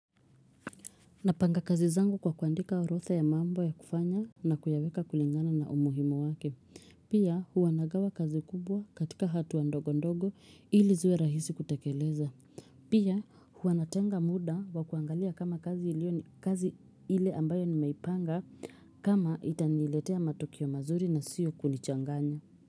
Napanga kazi zangu kwa kuandika orodha ya mambo ya kufanya na kuyaweka kulingana na umuhimu wake. Pia huwa nagawa kazi kubwa katika hatua ndogo ndogo ili ziwe rahisi kutekeleza. Pia huwa natenga muda wa kuangalia kama kazi ilio ni kazi ile ambayo nimeipanga kama itaniletea matokeo mazuri na sio kunichanganya.